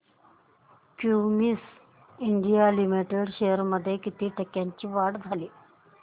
Cummins India limited shares मध्ये किती टक्क्यांची वाढ झाली